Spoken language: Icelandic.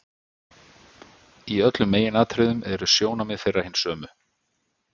Í öllum meginatriðum eru sjónarmið þeirra hin sömu.